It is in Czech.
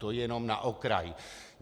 To jenom na okraj.